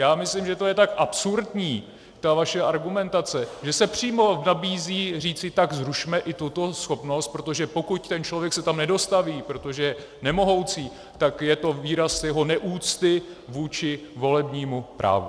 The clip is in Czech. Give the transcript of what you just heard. Já myslím, že to je tak absurdní, ta vaše argumentace, že se přímo nabízí říci: tak zrušme i tuto schopnost, protože pokud ten člověk se tam nedostaví, protože je nemohoucí, tak je to výraz jeho neúcty vůči volebnímu právu.